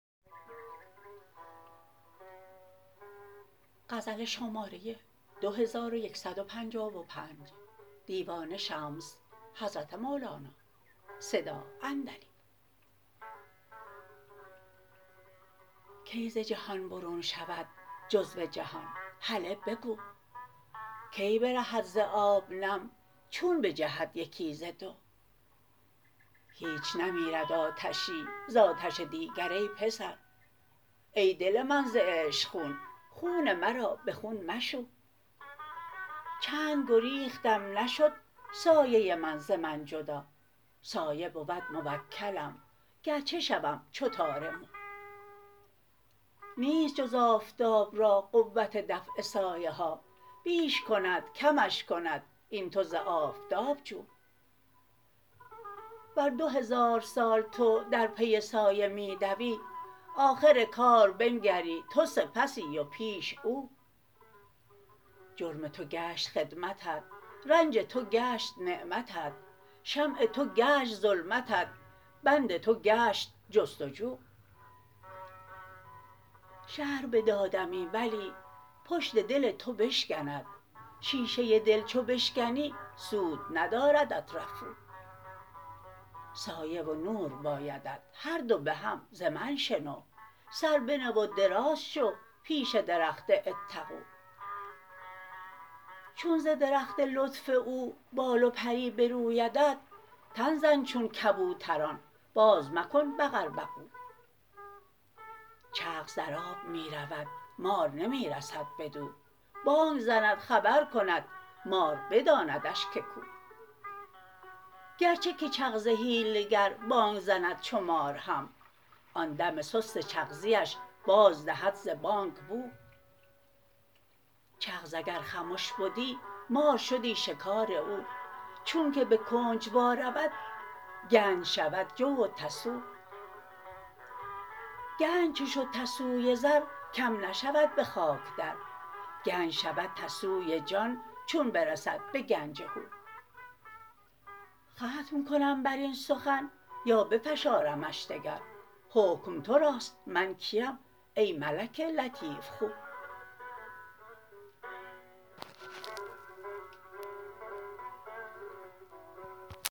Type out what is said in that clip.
کی ز جهان برون شود جزو جهان هله بگو کی برهد ز آب نم چون بجهد یکی ز دو هیچ نمیرد آتشی ز آتش دیگر ای پسر ای دل من ز عشق خون خون مرا به خون مشو چند گریختم نشد سایه من ز من جدا سایه بود موکلم گرچه شوم چو تار مو نیست جز آفتاب را قوت دفع سایه ها بیش کند کمش کند این تو ز آفتاب جو ور دو هزار سال تو در پی سایه می دوی آخر کار بنگری تو سپسی و پیش او جرم تو گشت خدمتت رنج تو گشت نعمتت شمع تو گشت ظلمتت بند تو گشت جست و جو شرح بدادمی ولی پشت دل تو بشکند شیشه دل چو بشکنی سود نداردت رفو سایه و نور بایدت هر دو به هم ز من شنو سر بنه و دراز شو پیش درخت اتقوا چون ز درخت لطف او بال و پری برویدت تن زن چون کبوتران بازمکن بقوبقو چغز در آب می رود مار نمی رسد بدو بانگ زند خبر کند مار بداندش که کو گرچه که چغز حیله گر بانگ زند چو مار هم آن دم سست چغزیش بازدهد ز بانگ بو چغز اگر خمش بدی مار شدی شکار او چونک به کنج وا رود گنج شود جو و تسو گنج چو شد تسوی زر کم نشود به خاک در گنج شود تسوی جان چون برسد به گنج هو ختم کنم بر این سخن یا بفشارمش دگر حکم تو راست من کیم ای ملک لطیف خو